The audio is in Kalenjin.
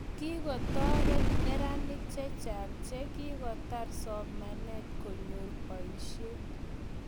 Kikotorit neranik che chang che kikotar somanet konyor boishet